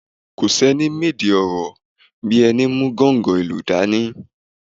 Kò sẹ́ni mèdè ọ̀rọ̀ bí ẹni mú gọ̀ǹgọ́ ìlù dání.